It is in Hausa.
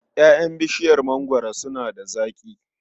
Ƴaƴan bishiyar mangwaro suna da zaƙi.